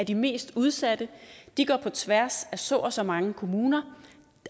de mest udsatte de går på tværs af så og så mange kommuner